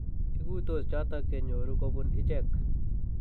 Iguitos chotok che nyoru kobun ichek."